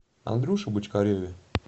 андрюше бочкареве